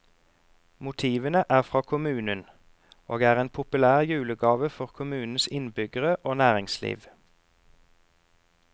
Motivene er fra kommunen, og er en populær julegave for kommunens innbyggere og næringsliv.